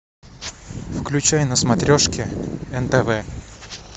включай на смотрешке нтв